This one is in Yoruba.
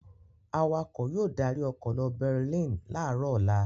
Awakọ̀ yóò darí ọkọ̀ lọ Berlin láàárọ̀ ọ̀la.